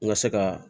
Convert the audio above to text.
N ka se ka